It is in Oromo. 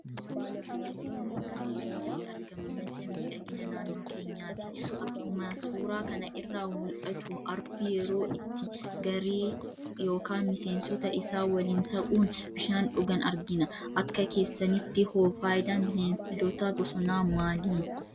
Bineeldonni naannoo keenyatti argaman madda miidhagina naannoo keenyaati. Akkuma suuraa kana irraa mul'atu arbi yeroo itti gareee yookaan miseensota isaa waliin ta'uun bishaan dhugan argina. Akka keessanitti hoo fayidaan Bineeldota bosonaa maali?